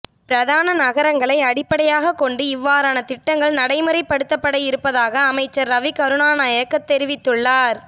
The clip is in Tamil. பிரதான நகரங்களை அடிப்படையாகக் கொண்டு இவ்வாறான திட்டங்கள் நடைமுறைப்படுத்தப்பட இருப்பதாக அமைச்சர் ரவி கருணாநாயக்க தெரிவித்துள்ளார்